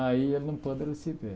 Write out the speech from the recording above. Aí ele não pôde receber.